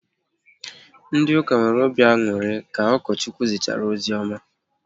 Ndị ụka nwere obi aṅụrị ka Ukochukwu zichara ozioma